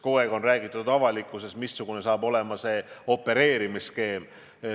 Kogu aeg on avalikkuses räägitud sellest, missugune saab olema opereerimisskeem.